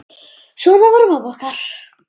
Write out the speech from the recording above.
Svona var mamma okkar.